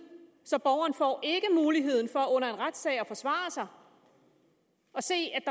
så borgeren får ikke muligheden for under en retssag at forsvare sig og se at